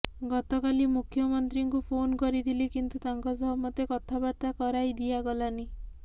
ଗତକାଲି ମୁଖ୍ୟମନ୍ତ୍ରୀଙ୍କୁ ଫୋନ କରିଥିଲି କିନ୍ତୁ ତାଙ୍କ ସହ ମୋତେ କଥାବାର୍ତ୍ତା କରାଇ ଦିଆଗଲାନି